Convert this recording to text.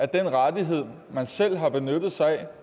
den rettighed man selv har benyttet sig af